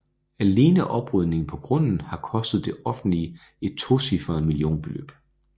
Alene oprydningen på grunden har kostet det offentlige et tocifret millionbeløb